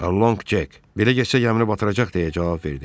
Alonq Cek, belə getsə gəmini batıracaq, deyə cavab verdi.